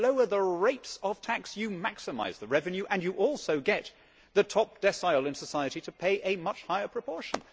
If you lower the rates of tax, you maximise the revenue and you also get the top decile in society to pay a much higher proportion.